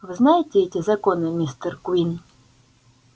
вы знаете эти законы мистер куинн